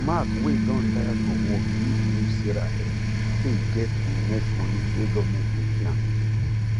mark wey don retire from work need use sarah help take get e next money wey government dey pay am